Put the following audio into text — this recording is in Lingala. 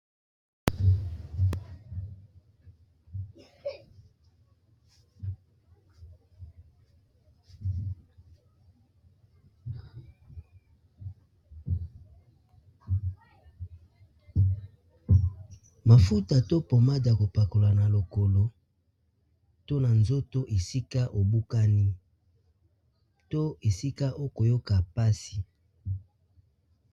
Mafuta to pommade ya kopakola na lokolo to na nzoto esika obukani to esika okoyoka mpasi.